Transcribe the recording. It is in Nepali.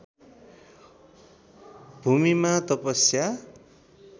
भूमिमा तपस्या